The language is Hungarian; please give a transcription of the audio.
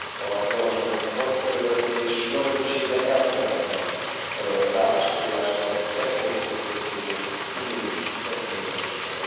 a javaslatunkat, és nagy többséggel elfogadta az állásfoglalást a beporzókról szóló uniós kezdeményezésről.